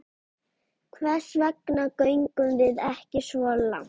Hvers vegna göngum við ekki svo langt?